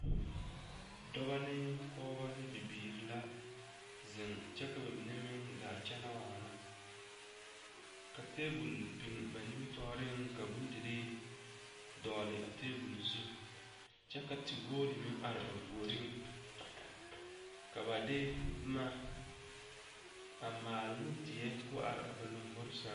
Dɔbɔ ne pɔgeba nae bibiiri la zeŋ kyɛ ka ba mine meŋ gaa kyɛnɛ waana ka tebol biŋ ba nimitɔɔreŋ ka bondirii dɔgle a tebol zu kyɛ ka tepoore meŋ are gerene ka ba de boma a maale ne die ka o are a ba lombori zɛŋ.